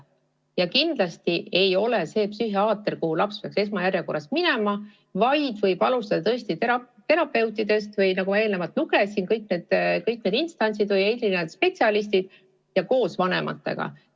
Ja kindlasti ei pea laps esmajärjekorras minema psühhiaatri juurde, vaid ta võib alustada terapeutidest või, nagu eelnevalt üles lugesin, kõigist neist teistest instantsidest ja spetsialistidest ning tegema seda koos vanematega.